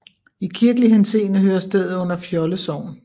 I kirkelig henseende hører stedet under Fjolde Sogn